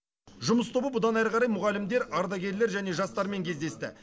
жұмыс тобы бұдан ары қарай мұғалімдер ардагерлер және жастармен кездесті